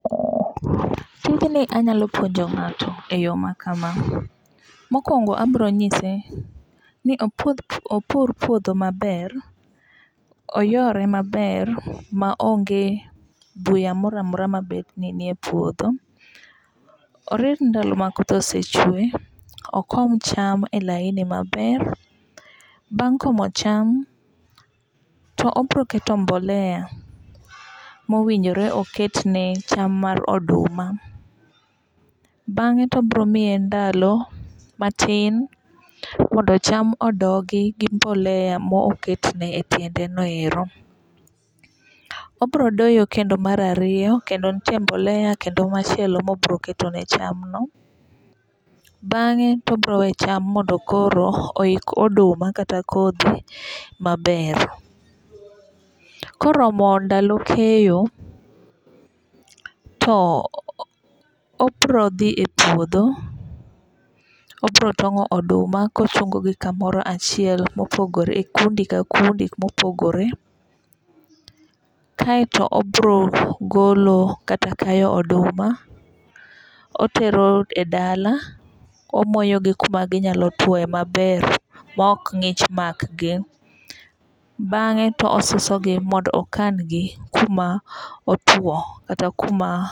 Tijni anyalo puonjo ng'ato e yo makama. Mokwongo abiro nyise ni opur puodho maber. Oyore maber ma onge buya moro amora mabet ni ni e puodho. Orit ndalo ma koth ose chwe. Okom cham e laini maber. Bang' komo cham to obiro keto mboleya mowinjore oket ne cham mar oduma. Bang'e to obiro miye ndalo matin mondo cham odongi gi mboleya moketne e tiende no ero. Obiro doyo kendo mar ariyo kendo nitiere mboleya kendo machielo mobiro keto ne cham no. Bang'e to obiro we cham mondo koro oik ooduma kata kodhi maber. Koromo ndalo keyo to obiro dhi e puodho, obiro tong'o oduma kochungogi kamoro achiel mopogore e kundi ka kundi mopogore. Kaeto obiro golo kata kayo oduma otero e dala omoyogi kuma ginyalo tuoe maber ma ok ng'ich makgi. Bang'e to osusogi mondo okangi kuma otuo kata kuma